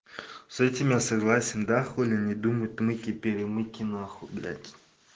с этим я согласен да хули не думать мыки перемыки нахуй блять